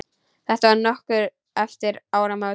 Þetta var nokkru eftir áramót.